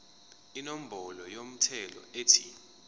inombolo yomthelo ethi